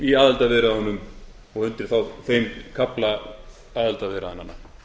í aðildarviðræðunum og undir þá þeim kafla aðildarviðræðnanna